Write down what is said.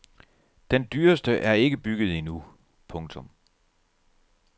Den dyreste er ikke bygget endnu. punktum